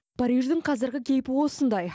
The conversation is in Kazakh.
париждің қазіргі кейпі осындай